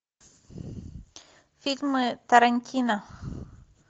фильмы тарантино